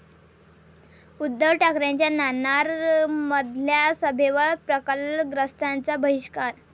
उद्धव ठाकरेंच्या नाणारमधल्या सभेवर प्रकल्पग्रस्तांचा बहिष्कार